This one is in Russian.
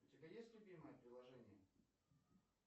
у тебя есть любимое приложение